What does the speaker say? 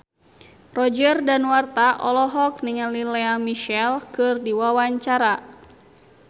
Roger Danuarta olohok ningali Lea Michele keur diwawancara